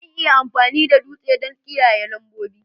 Zan iya amfani da dutse don ƙidaya lambobi